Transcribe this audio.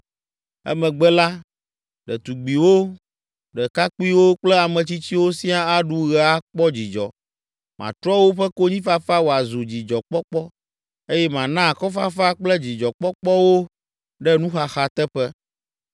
Emegbe la, ɖetugbiwo, ɖekakpuiwo kple ame tsitsiwo siaa aɖu ɣe akpɔ dzidzɔ. Matrɔ woƒe konyifafa wòazu dzidzɔkpɔkpɔ eye mana akɔfafa kple dzidzɔkpɔkpɔ wo ɖe nuxaxa teƒe.